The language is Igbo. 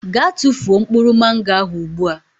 Gaa tụfuo mkpụrụ Mango ahụ ugbu a.